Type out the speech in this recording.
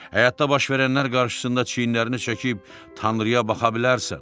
Həyatda baş verənlər qarşısında çiyinlərini çəkib Tanrıya baxa bilərsən.